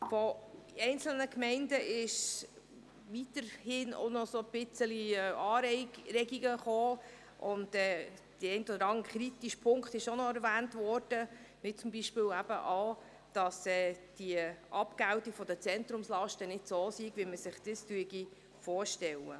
Von den einzelnen Gemeinden kamen noch Anregungen, und der eine oder andere kritische Punkt wurde auch noch erwähnt, wie zum Beispiel, dass die Abgeltung der Zentrumslasten nicht so sei, wie man sich dies vorstelle.